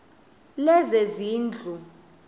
lezezindlu